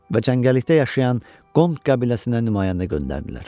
Və cəngəllikdə yaşayan Qond qəbiləsinə nümayəndə göndərdilər.